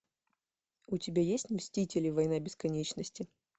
у тебя есть мстители война бесконечности